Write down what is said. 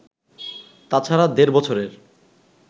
তাছাড়া দেড় বছরের